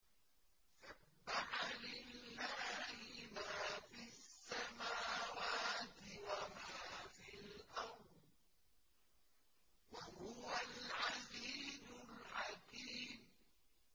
سَبَّحَ لِلَّهِ مَا فِي السَّمَاوَاتِ وَمَا فِي الْأَرْضِ ۖ وَهُوَ الْعَزِيزُ الْحَكِيمُ